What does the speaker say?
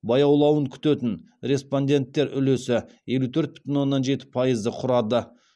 баяулауын күтетін респонденттер үлесі елу төрт бүтін оннан жеті пайызды құрады